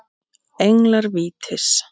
Englar vítis